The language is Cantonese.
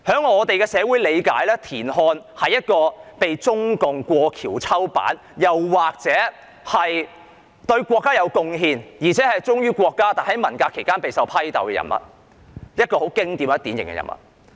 我們的理解是，田漢被中共過河拆橋，或者說，他是一位對國家有貢獻而且忠於國家，但在文革期間備受批鬥的典型人物。